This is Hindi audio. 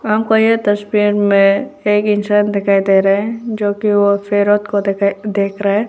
हमको यह तस्वीर में एक इंसान दिखाई दे रहा है जो कि वो पैरोट को दिखाई देख रहा है।